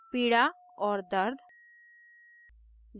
पीड़ा और दर्द